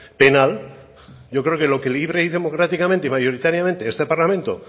penal yo creo que lo que libre democráticamente y mayoritariamente este parlamento